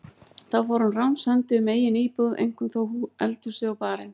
Þá fór hann ránshendi um eigin íbúð, eink- um þó eldhúsið og barinn.